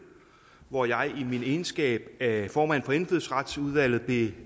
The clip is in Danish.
hvor jeg i min egenskab af formand for indfødsretsudvalget blev